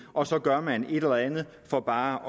og så gør man et eller andet for bare